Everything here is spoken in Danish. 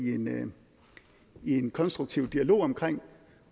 i en konstruktiv dialog omkring